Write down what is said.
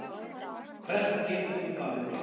Hvert getur þú farið?